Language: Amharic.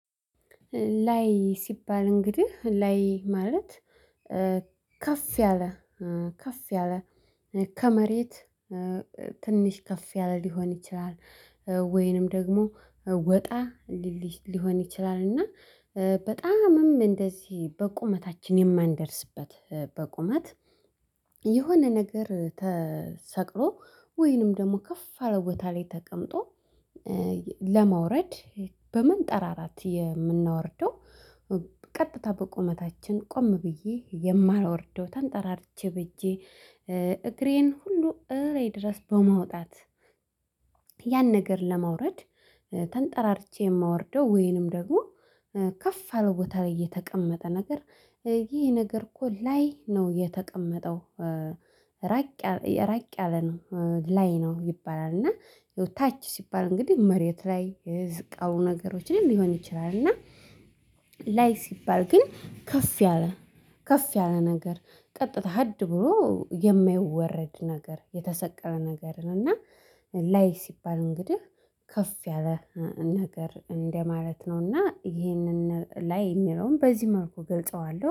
ላይ ሲባል እንግዲህ ላይ ማለት ከፍ ያለ ከፍ ያለ ከመሬት ትንሽ ከፍ ያለ ሊሆን ይችላል። ወይንም ደግሞ ወጣ ሊሆን ይችላል። እና በጣምም እንደዚህ በቁመታችን የማንደርስበት በቁመት የሆነ ነገር ተሰቅሮ ወይንም ደግሞ ከፍ አለ ቦታ ላይ ተቀምጦ ለማውረድ በመንጠራራት የምናወርደው። ቀጥታ በቁመታችን ቆም ብዬ የማላወርደው ተንጠራርቼ ብቼ ሁሉ እሬ ድረስ በማውጣት። ያን ነገር ለማውረድ ተንጠራርቼ የማወርደው ወይንም ደግሞ ከፍ አለው ቦታ ላይ የተቀመጠ ነገር ይሄ ነገር እኮ ላይ ነው የተቀመጠው። ራቅ ራቅ ያለ ነው ላይ ነው ይባላል። እና ታች ሲባል እንግዲህ መሬት ላይ ዝቅ ያሉ ነገሮችን ሊሆን ይችላል። እና ላይ ሲባል ግን ከፍ ያለ ከፍ ያለ ነገር ቀጥታ ሀድ ብሎ የማይወረድ ነገር የተሰቀለ ነገር ነው። እና ላይ ሲባል እንግዲህ ከፍ ያለ ነገር እንደማለት ነውና ይሄንን ላይ የሚለውን በዚህ መልኩ እገልጸዋለሁ